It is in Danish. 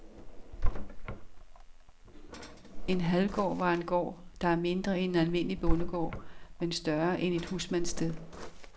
En halvgård var en gård, der er mindre end en almindelig bondegård, men større end et husmandssted.